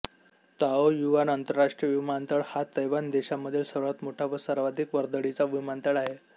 Taoyuan आंतरराष्ट्रीय विमानतळ हा तैवान देशामधील सर्वात मोठा व सर्वाधिक वर्दळीचा विमानतळ आहे